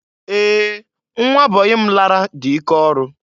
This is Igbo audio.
Ee! Nwa bọyị m lara dị ike ọrụ.